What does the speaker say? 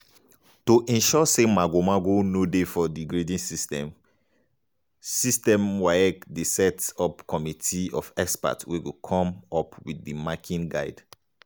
to ensure say mago-mago no dey for di grading system system waec dey set up committee of experts wey go come up wit di marking guide.